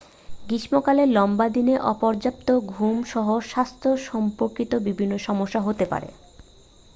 গ্রীষ্মকালে লম্বা দিনে অপর্যাপ্ত ঘুম সহ স্বাস্থ্য সম্পর্কিত বিভিন্ন সমস্যা হতে পারে